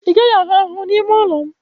Ị gaghị ahụ ahụhụ n'ime ụlọ m